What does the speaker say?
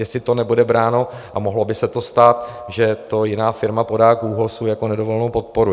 Jestli to nebude bráno, a mohlo by se to stát, že to jiná firma podá k ÚOHSu jako nedovolenou podporu?